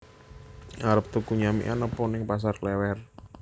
Arep tuku nyamikan opo ning Pasar Klewer